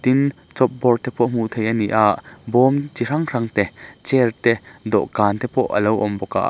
tin chopboard te pawh hmuh theih a ni a bawm chi hrang hrangte chair te dawhkan te pawh a lo awm bawk a.